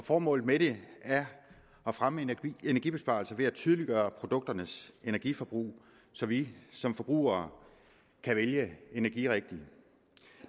og formålet med det er at fremme energibesparelser ved at tydeliggøre produkternes energiforbrug så vi som forbrugere kan vælge energirigtigt